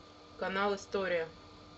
канал история